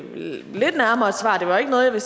noget vi